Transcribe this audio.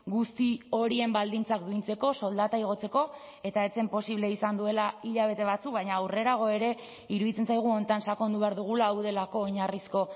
guzti horien baldintzak duintzeko soldata igotzeko eta ez zen posible izan duela hilabete batzuk baina aurrerago ere iruditzen zaigu honetan sakondu behar dugula hau delako oinarrizko